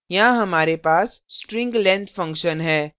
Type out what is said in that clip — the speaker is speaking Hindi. यहाँ हमारे पास string लाइब्रेरी function है